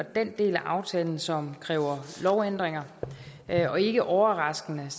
den del af aftalen som kræver lovændringer og ikke overraskende